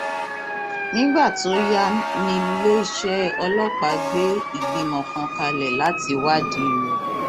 nígbà tó yá níléeṣẹ ọlọpàá gbé ìgbìmọ kan kalẹ láti wádìí rẹ